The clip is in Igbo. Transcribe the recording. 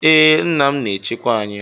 Ee, nna m na-echekwa anyị.